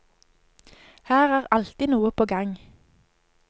Her er alltid noe på gang.